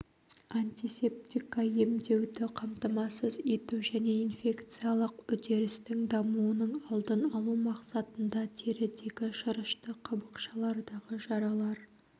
антисептика емдеуді қамтамасыз ету және инфекциялық үдерістің дамуының алдын алу мақсатында терідегі шырышты қабықшалардағы жаралар